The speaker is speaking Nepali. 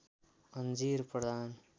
अन्जीर प्रधान